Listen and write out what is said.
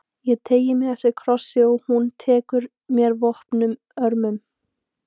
Ég teygi mig eftir kossi og hún tekur mér vopnuð örmum.